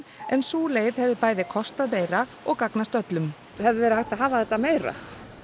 en sú leið hefði bæði kostað meira og gagnast öllum hefði verið hægt að hafa þetta meira